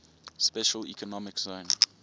special economic zone